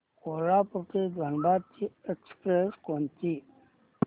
कोल्हापूर ते धनबाद ची एक्स्प्रेस कोणती